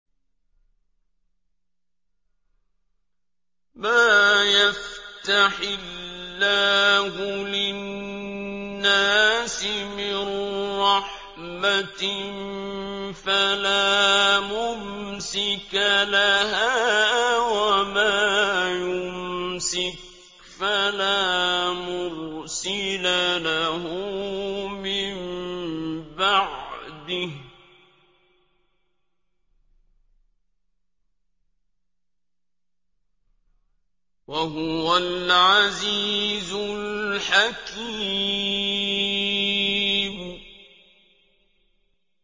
مَّا يَفْتَحِ اللَّهُ لِلنَّاسِ مِن رَّحْمَةٍ فَلَا مُمْسِكَ لَهَا ۖ وَمَا يُمْسِكْ فَلَا مُرْسِلَ لَهُ مِن بَعْدِهِ ۚ وَهُوَ الْعَزِيزُ الْحَكِيمُ